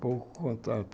Pouco contato.